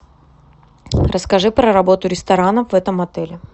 расскажи про работу ресторана в этом отеле